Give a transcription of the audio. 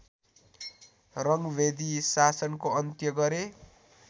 रङ्गभेदी शासनको अन्त्य गरे